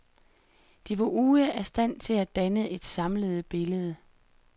De var ude af stand til at danne et samlet billede.